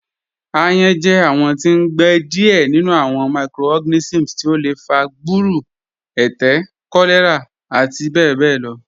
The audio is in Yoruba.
Ayán jẹ awọn tí n gbẹ díẹ̀ nínú awọn microorganisms tí ó lẹ fà gbúrù, ẹtẹ̀, kọ̀lẹ̀rà àti bẹbẹ̀ lọ